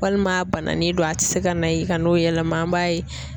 Walima a bananen do a tɛ se ka na yi ka n'o yɛlɛma an m'a ye